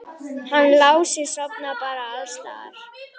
Hann Lási sofnar bara alls staðar.